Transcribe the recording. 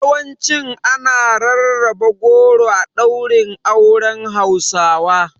Yawancin ana rarraba goro a ɗaurin auren Hausawa.